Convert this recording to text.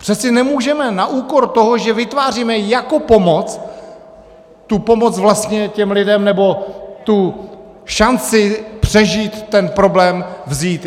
Přece nemůžeme na úkor toho, že vytváříme jako pomoc, tu pomoc vlastně těm lidem, nebo tu šanci přežít ten problém, vzít.